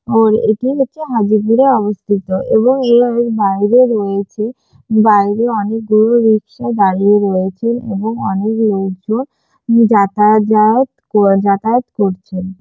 আর এটি হচ্ছে হাজিরপুরে অবস্থিত এবং এর বাইরে রয়েছে বাইরে অনেকগুলো রিক্সা দাঁড়িয়ে রয়েছে এবং অনেক লোকজন যাতাআযাত যাতায়াত করছেন।